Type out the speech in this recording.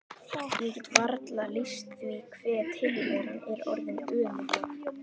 Ég get varla lýst því hve tilveran er orðin ömurleg.